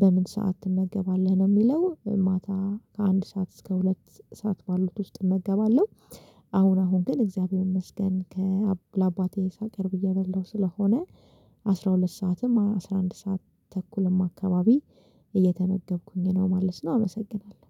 በምን ሰዓት ትመገባለህ ነው የሚለው? ማታ አንድ ሰዓት እስከ ሁለት ሰዓት ባሉት ውስጥ እመገባለሁ። አሁን አሁን ግን እግዚአብሔር ይመስገን ለአባቴ ሳቀርብ እየበላሁ ስለሆነ አስራ ሁለት ሰዓትም አስራ አንድ ሰዓት ተኩልም አካባቢ እየተመገብኩኝ ነው ማለት ነው። አመሰግናለሁ